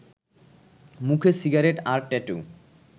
মুখে সিগারেট আর ট্যাটু